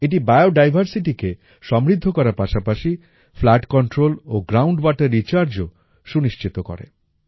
এটি বায়োডাইভারসিটিকে সমৃদ্ধ করার পাশাপাশি ফ্লাড কন্ট্রোল ও গ্রাউন্ড ওয়াটার রিচার্জও সুনিশ্চিত করে